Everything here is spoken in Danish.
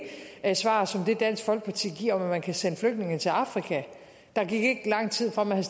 er svar som det dansk folkeparti giver om at man kan sende flygtninge til afrika der gik ikke lang tid fra man